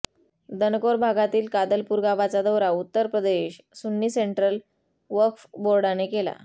दनकौर भागातील कादलपूर गावाचा दौरा उत्तर प्रदेश सुन्नी सेंट्रल वक्फ बोर्डाने केला